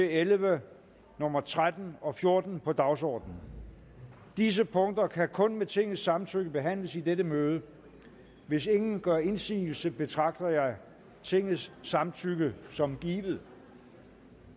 elleve og nummer tretten og fjorten på dagsordenen disse punkter kan kun med tingets samtykke behandles i dette møde hvis ingen gør indsigelse betragter jeg tingets samtykke som givet